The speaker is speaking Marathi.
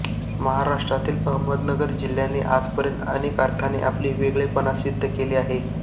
महाराष्ट्रातील अहमदनगर जिल्ह्याने आजपर्यंत अनेक अर्थानी आपले वेगळेपण सिद्ध केले आहे